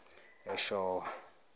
eshowe